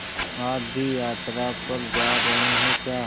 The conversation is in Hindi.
आप भी यात्रा पर जा रहे हैं क्या